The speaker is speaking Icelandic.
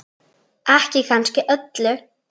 Ekki kannski öllu.